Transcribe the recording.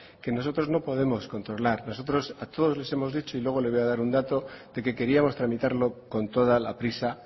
que nosotros no podemos controlar nosotros a todos les hemos dicho y luego le voy a dar un dato de que queríamos tramitarlo con toda la prisa